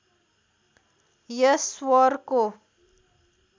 यस स्वरको